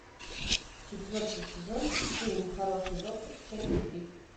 четвертый сезон фильм хороший доктор часть три